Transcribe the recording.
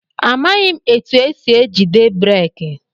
Amaghị m etụ esị ejide breeki.